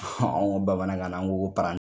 Anw ko ko bamanankan na